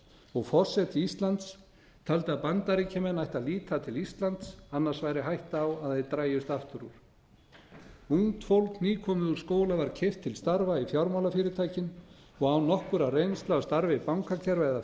og forseti íslands taldi að bandaríkjamenn ættu að líta til íslands annars væri hætta á að þeir drægjust aftur úr ungt fólk nýkomið úr skóla var keypt til starfa í fjármálafyrirtækjum og án nokkurrar reynslu af starfi bankakerfa eða